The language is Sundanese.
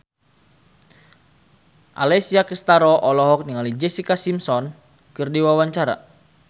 Alessia Cestaro olohok ningali Jessica Simpson keur diwawancara